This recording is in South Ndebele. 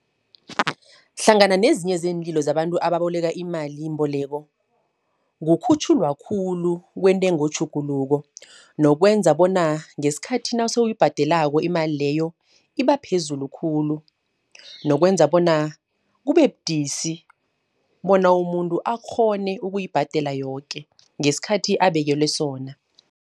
Hlangana nezinye zeenlilo zabantu ababoleki imalimboleko, kukhutjhulwa khulu kwentengo tjhuguluko. Nokwenza bona ngeskhathi nasoyibhadelako imali leyo, iba phezulu khulu. Nokwenza bona kube budisi bona, umuntu akghone ukuyibhadela yoke ngeskhathi abekelwe sona.